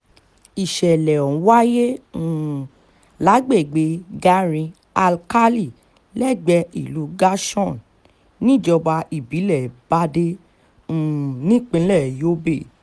ìsẹ̀lẹ̀ ọ̀hún wáyé um lágbègbè garin-alkálì lẹ́gbẹ̀ẹ́ ìlú gashọ́n níjọba ìbílẹ̀ bàdé um nípínlẹ̀ yobe